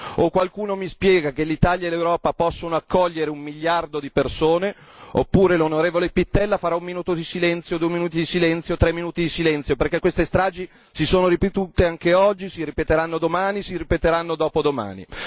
O qualcuno mi spiega che l'Italia e l'Europa possono accogliere un miliardo di persone oppure l'onorevole Pittella farà un minuto di silenzio, due minuti di silenzio, tre minuti di silenzio perché queste stragi si sono ripetute anche oggi, si ripeteranno domani, si ripeteranno dopodomani.